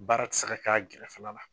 Baara tɛ se ka kɛ a gɛrɛfɛla la.